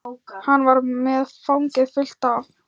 Hann var með fangið fullt af